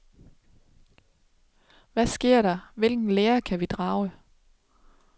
Hvad skete der, hvilken lære kan vi drage?